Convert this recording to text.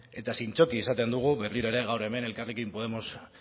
eta zintzoki esaten dugu berriro ere gaur hemen elkarrekin podemos